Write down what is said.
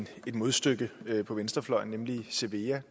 modstykke på venstrefløjen nemlig cevea